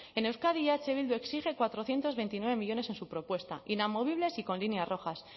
en euskadi eh bildu exige cuatrocientos veintinueve millónes en su propuesta inamovibles y con líneas rojas